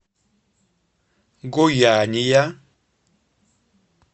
гояния